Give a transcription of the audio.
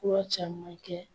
Fura caman kɛ.